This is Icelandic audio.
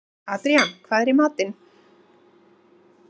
Adrían, hvað er í matinn?